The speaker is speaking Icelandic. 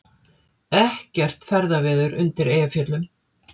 Ekkert ferðaveður undir Eyjafjöllum